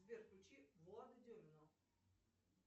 сбер включи влада демина